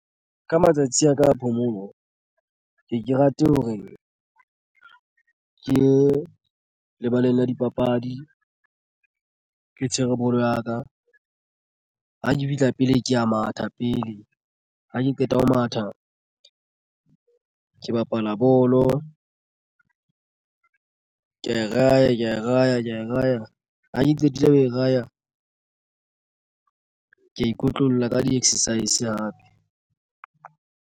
Ka matsatsi a ka a phomolo ke ke rate hore ke ye lebaleng la dipapadi ke tshwere bolo ya ka. Ha ke fihla pele ke ya matha pele ha ke qeta ho matha ke bapala bolo ke ra ya ra ya ka e raya. Ha ke qetile ho e raya ko ikotlolla ka di-exercise hape.